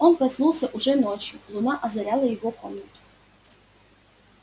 он проснулся уже ночью луна озаряла его комнату